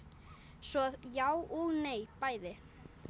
svo já og nei bæði